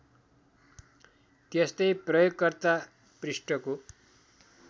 त्यस्तै प्रयोगकर्ता पृष्ठको